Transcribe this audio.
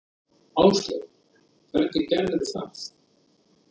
Áslaug: Hvernig gerðirðu það?